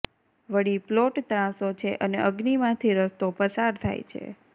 વળી પ્લોટ ત્રાંસો છે અને અગ્નિમાંથી રસ્તો પસાર થાય છે